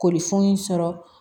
Koli funun sɔrɔ